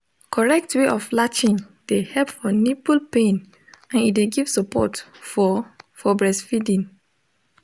omo lyk say breastfeeding on demand de ensure make pikin get plenty milk for the hold day